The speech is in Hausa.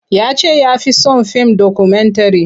Ya ce ya fi son fim dokumentare.